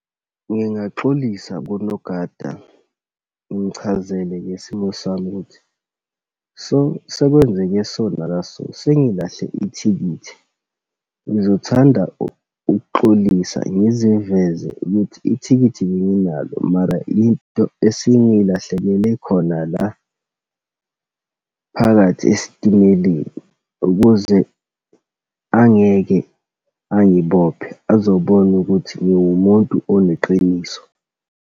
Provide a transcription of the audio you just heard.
Ngiyaxolisa kunogada, ngimchazele ngesimo sami ukuthi so, sekwenzeke so naka so sengilahle ithikithi. Ngizothanda ukuxolisa ngiziveze ukuthi ithikithi benginalo mara into esingilahlekele khona la phakathi esitimeleni, ukuze angeke angibophe, azobona ukuthi ngiwumuntu oneqiniso.